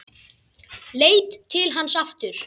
Leit til hans aftur.